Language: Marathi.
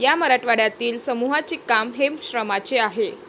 या मराठवाड्यातील समूहाचे काम हे श्रमाचे आहे.